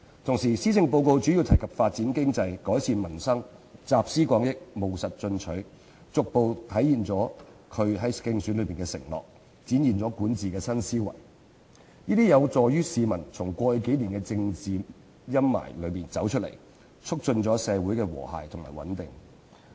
同時，施政報告主要提及發展經濟、改善民生，集思廣益、務實進取，逐步實現她的競選承諾，展現管治新思維，這將有助市民從過去數年的政治陰霾中走出來，促進社會和諧與穩定。